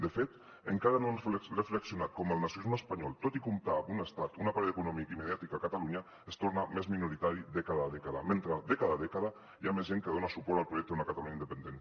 de fet encara no han reflexionat com el nacionalisme espanyol tot i comptar amb un estat un aparell econòmic i mediàtic a catalunya es torna més minoritari dècada a dècada mentre dècada a dècada hi ha més gent que dona suport al projecte d’una catalunya independent